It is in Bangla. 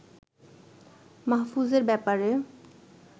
মাহফুজের ব্যাপারে